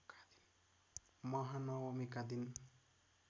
महानवमीका दिन